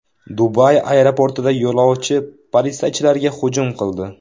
Dubay aeroportida yo‘lovchi politsiyachilarga hujum qildi.